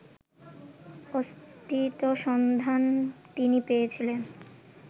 অস্থিত সন্ধান তিনি পেয়েছিলেন